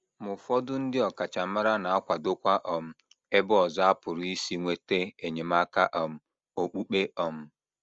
Ma ụfọdụ ndị ọkachamara na - akwadokwa um ebe ọzọ a pụrụ isi nweta enyemaka um okpukpe um.